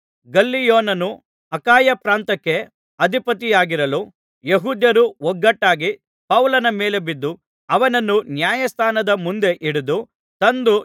ಗಲ್ಲಿಯೋನನು ಅಖಾಯ ಪ್ರಾಂತ್ಯಕ್ಕೆ ಅಧಿಪತಿಯಾಗಿರಲು ಯೆಹೂದ್ಯರು ಒಗ್ಗಟ್ಟಾಗಿ ಪೌಲನ ಮೇಲೆ ಬಿದ್ದು ಅವನನ್ನು ನ್ಯಾಯಾಸ್ಥಾನದ ಮುಂದೆ ಹಿಡಿದು ತಂದು